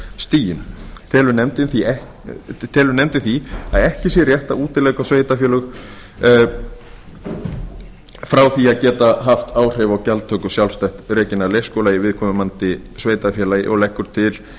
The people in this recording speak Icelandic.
sveitarstjórnarstiginu telur nefndin því að ekki sé rétt að útiloka sveitarfélög frá því að geta haft áhrif á gjaldtöku sjálfstætt rekinna leikskóla í viðkomandi sveitarfélagi og leggur til